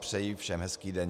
Přeji všem hezký den.